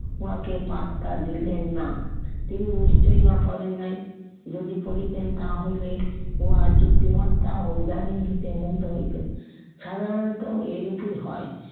ওনাকে পাত্তা দিলেন না। তিনি নিশ্চয় উহা পড়েন নাই, যদি পড়িতেন তাহা হইলে উহার যুক্তিমত্তা ও উদার ইঙ্গিতে মুগ্ধ হইত। সাধারণত এইরকমই হয়।